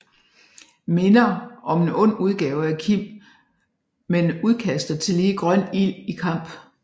Minder om en ond udgave af Kim men udkaster tillige grøn ild i kamp